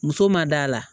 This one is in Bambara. Muso ma da la